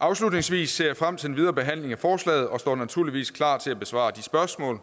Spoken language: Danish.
afslutningsvis ser jeg frem til den videre behandling af forslaget og står naturligvis klar til at besvare de spørgsmål